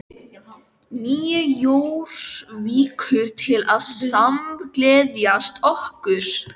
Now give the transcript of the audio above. Nýju Jórvíkur til að samgleðjast okkur.